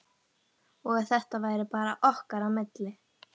Og að þetta væri bara okkar á milli.